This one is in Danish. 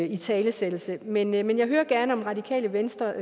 italesættelse men men jeg hører gerne om radikale venstre